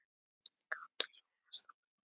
Kantor Jónas Þórir.